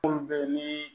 Munnu be yen nii